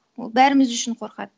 ол бәріміз үшін қорқады